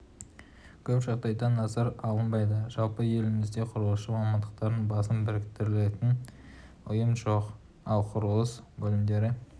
көп жағдайда назарға алынбайды жалпы елімізде құрылысшы мамандардың басын біріктіретін ұйым жоқ ал құрылыс бөлімдері